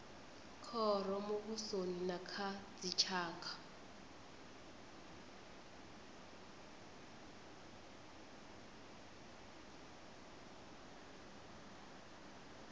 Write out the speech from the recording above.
khoro muvhusoni na kha dzitshaka